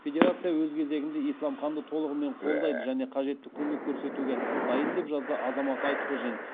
федерация өз кезегінде исламханды толығымен қолдайды және қажетті көмек көрсетуге дайын деп жазды азамат айтқожин